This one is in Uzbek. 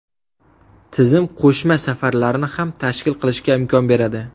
Tizim qo‘shma safarlarni ham tashkil qilishga imkon beradi.